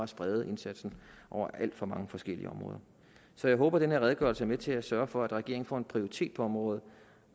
sprede indsatsen over alt for mange forskellige områder så jeg håber den her redegørelse er med til at sørge for at regeringen får en prioritet på området